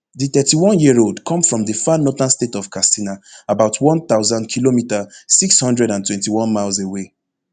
di thirty-oneyearold come from di far northern state of katsina about one thousandkm six hundred and twenty-one miles away